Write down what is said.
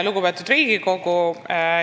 Lugupeetud Riigikogu!